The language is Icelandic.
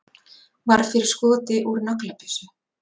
Varð fyrir skoti úr naglabyssu